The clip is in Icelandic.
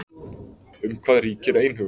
Um hvað ríkir einhugur?